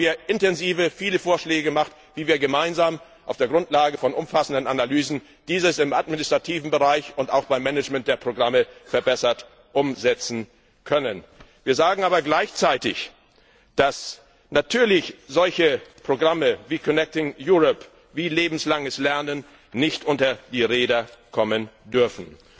Dazu haben wir viele detaillierte Vorschläge gemacht, wie wir gemeinsam auf der Grundlage von umfassenden Analysen dies im administrativen Bereich und auch beim Management der Programme verbessert umsetzen können. Wir sagen aber gleichzeitig, dass natürlich solche Programme wie Connecting Europe wie lebenslanges Lernen nicht unter die Räder kommen dürfen.